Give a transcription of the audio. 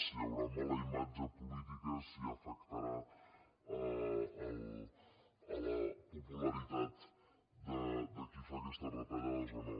si hi haurà mala imatge política si afectarà a la popularitat de qui fa aquestes retallades o no